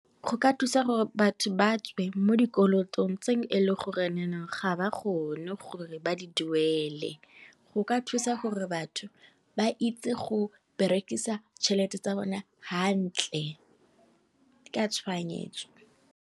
Go ka thusa gore batho ba tswe mo di kolotong tse e leng gore ga ba kgone gore ba di duele, go ka thusa gore batho ba itse go berekisa tšhelete tsa bone hantle ka tshoganyetso.